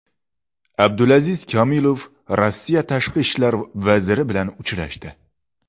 Abdulaziz Komilov Rossiya tashqi ishlar vaziri bilan uchrashdi.